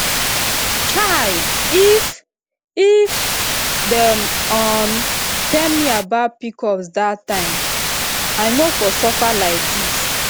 chai if if dem um tell me about pcos that time i no for suffer like this